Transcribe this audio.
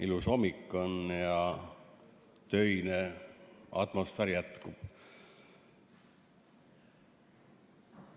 Ilus hommik on ja töine atmosfäär jätkub.